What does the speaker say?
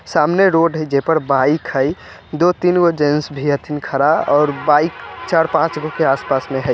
सामने रोड है जे पर बाइक हई दो-तीन वो जेंट्स भी खड़ा और बाइक चार-पाँच गो के आसपास में है।